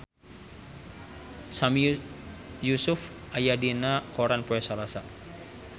Sami Yusuf aya dina koran poe Salasa